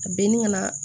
A binni ka na